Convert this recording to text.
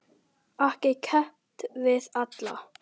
Ekki keppt við alla?